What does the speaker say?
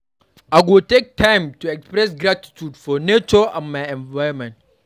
I go take time to express gratitude for nature and my environment.